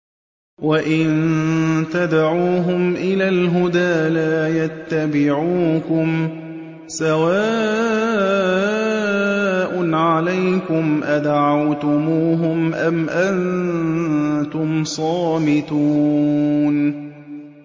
وَإِن تَدْعُوهُمْ إِلَى الْهُدَىٰ لَا يَتَّبِعُوكُمْ ۚ سَوَاءٌ عَلَيْكُمْ أَدَعَوْتُمُوهُمْ أَمْ أَنتُمْ صَامِتُونَ